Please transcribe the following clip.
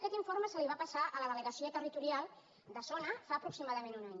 aquest informe es va passar a la delegació territorial de zona fa aproximadament un any